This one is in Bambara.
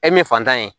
E min fantan ye